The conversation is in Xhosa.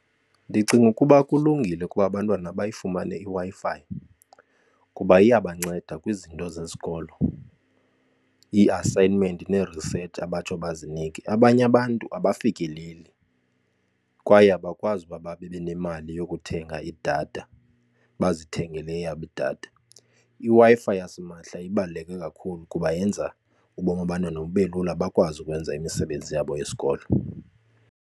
Ndicinga ukuba kulungile ukuba abantwana bayifumane iWi-Fi kuba iyabanceda kwizinto zesikolo, ii-assignment nee-research abatsho bazinikwe. Abanye abantu abafikeleli kwaye abakwazi ukuba babe nemali yokuthenga idatha bazithengele eyabo idatha. IWi-Fi yasimahla ibaluleke kakhulu kuba yenza ubomi babantwana bube lula bakwazi ukwenza imisebenzi yabo yesikolo.